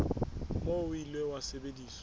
moo o ile wa sebediswa